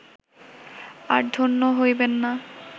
আর ধন্য হইবেন না